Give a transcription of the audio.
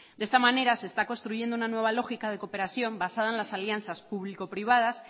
de esta manera se está construyendo una nueva lógica de cooperación basada en las alianzas público privadas